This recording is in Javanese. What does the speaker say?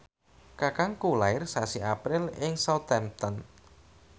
kakangku lair sasi April ing Southampton